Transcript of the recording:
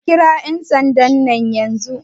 A kira yan sandan yanzu!